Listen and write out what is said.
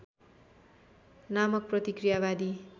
नामक प्रतिक्रियावादी